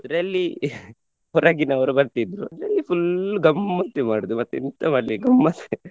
ಇದರಲ್ಲಿ ಹೊರಗಿನವರು ಬರ್ತಿದ್ರು ಇದರಲ್ಲಿ full ಗಮ್ಮತ್ತೆ ಮಾಡುದು ಮತ್ತೆಂತ ಮಾಡ್ಲಿಕ್ ಗಮ್ಮತ್ತ್ .